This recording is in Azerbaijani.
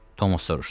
Tomuz soruşdu.